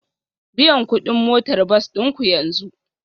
Biyan kuɗin motar bas ɗin ku yanzu